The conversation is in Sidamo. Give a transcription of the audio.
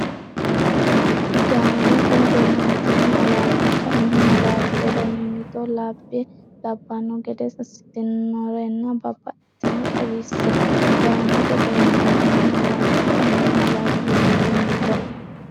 Gaamote beehantine malaatta kaimu malaati ledo mimmito lab- banno gede assitannorenna baxxitanore xawisse Gaamote beehantine malaatta kaimu malaati ledo mimmito.